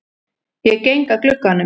Ég geng að glugganum.